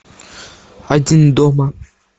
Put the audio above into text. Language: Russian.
один дома